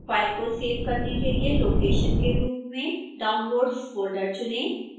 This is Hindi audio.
फाइल को सेव करने के लिए लोकेशन के रूप में downloads फोल्डर चुनें